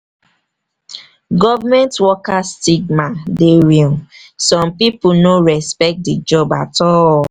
government worker stigma dey real; some pipo no respect di job at all. all.